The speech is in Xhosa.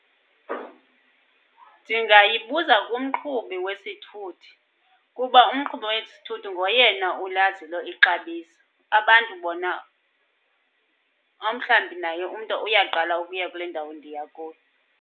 Ndingayibuza kumqhubi wesithuthi, kuba umqhubi wesithuthi ngoyena ulaziyo ixabiso. Abantu bona, omhlawumbi naye umntu uyaqala ukuya kule ndawo ndiya kuyo.